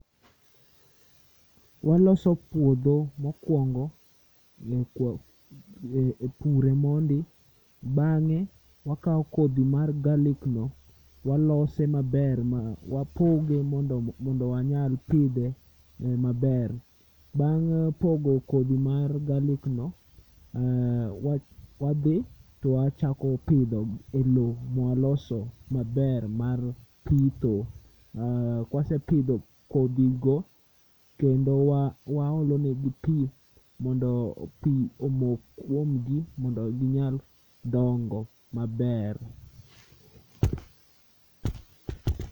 Waloso puodho mokwongo pure mondi, bang'e wakao kodhi mar garlic no walose maber ma wapoge mondo mondo wanyal pidhe eh maber. Bang' pogo kodhi mar garlic no, wa wadhi twachako pidho e lowo mwaloso maber mar pitho. Uh kwesepidho kodhigo kendo wa waolonegi pii mondo pii omok kwomgi mondo ginyal dongo maber